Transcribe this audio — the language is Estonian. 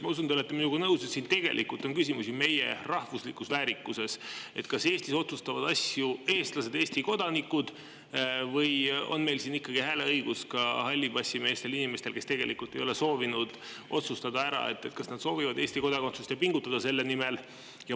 Ma usun, et te olete minuga nõus, et siin tegelikult on küsimus meie rahvuslikus väärikuses: kas Eestis otsustavad asju eestlased, Eesti kodanikud, või on siin ikkagi hääleõigus ka hallipassimeestel, inimestel, kes ei ole soovinud otsustada ära, kas nad soovivad Eesti kodakondsust ja pingutada selle nimel.